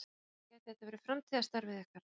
Sunna: Gæti þetta verið framtíðarstarfið ykkar?